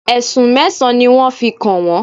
Ẹ̀sùn mẹ́sàn-án ni wọ́n fi kàn wọ́n.